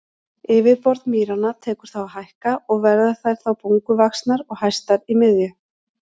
Yfirborð mýranna tekur þá að hækka og verða þær þá bunguvaxnar og hæstar í miðju.